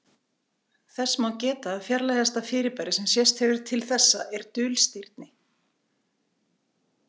þess má geta að fjarlægasta fyrirbæri sem sést hefur til þessa er dulstirni